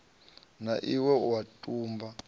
na iwe u a tumba